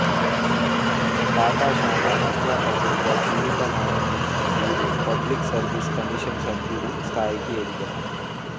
పాఠశాల అధ్యాపకుడుగా జీవితం ఆరంబించిన వీరు పబ్లిక్ సర్వీస్ కమిషన్ సభ్యుడి స్థాయికి ఎదిగారు